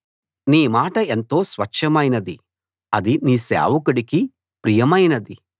నీ మాట ఎంతో స్వచ్ఛమైనది అది నీ సేవకుడికి ప్రియమైనది